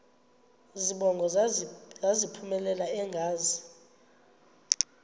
zibongo zazlphllmela engazi